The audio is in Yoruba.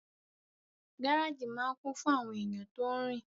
Gáràjì máa n kún fún àwọn èèyàn tó rin